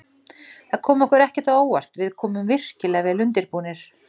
Það kom okkur ekkert á óvart, við komum virkilega vel undirbúnir.